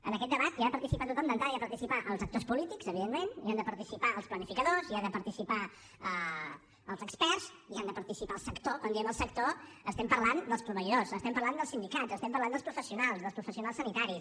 en aquest debat hi ha de participar tothom d’entrada hi han de participar els actors polítics evidentment hi han de participar els planificadors hi han de participar els experts hi ha de participar el sector i quan diem el sector parlem dels proveïdors parlem dels sindicats parlem dels professionals dels professionals sanitaris